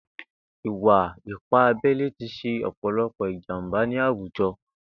Ìwà ìpá àbẹlé ti ṣé ọpọlọpọ ijàmbá ni àwújọ